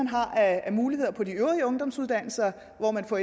har af muligheder på de øvrige ungdomsuddannelser hvor man får